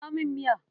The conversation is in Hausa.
Dafa min miya.